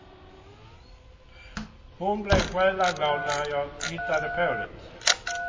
Hon blev själaglad när jag hittade på det.